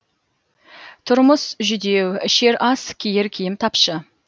тұрмыс жүдеу ішер ас киер киім тапшы